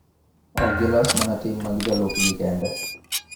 Ok gilos mana tim mag jolupgi kende .